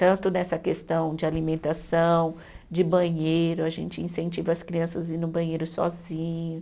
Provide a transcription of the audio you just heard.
Tanto nessa questão de alimentação, de banheiro, a gente incentiva as crianças ir no banheiro sozinho.